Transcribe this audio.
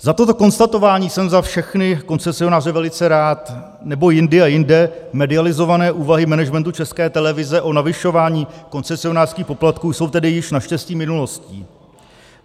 Za toto konstatování jsem za všechny koncesionáře velice rád, nebo jindy a jinde medializované úvahy managementu České televize o navyšování koncesionářských poplatků jsou tedy již naštěstí minulostí.